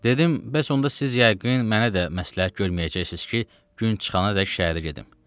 Dedim, bəs onda siz yəqin mənə də məsləhət görməyəcəksiniz ki, gün çıxanadək şəhərə gedim.